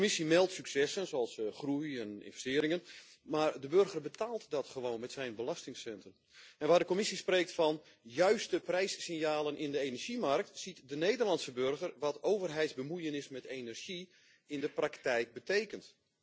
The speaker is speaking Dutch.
De Commissie meldt successen zoals groei en investeringen, maar de burger betaalt dat gewoon met zijn belastingcenten. Waar de Commissie spreekt van juiste prijssignalen in de energiemarkt, ziet de Nederlandse burger wat overheidsbemoeienis met energie in de praktijk betekent.